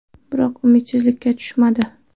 Biroq u umidsizlikka tushmadi.